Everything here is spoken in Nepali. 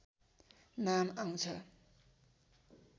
नाम आउँछ